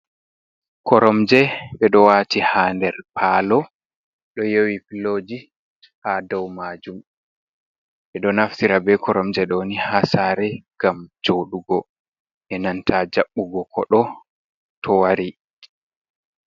Koromje be do wati ha nder palo do yewi piloji ha dau majum be do naftira be koromje doni ha sare ngam jodugo benanta jabbugo kodo to wari.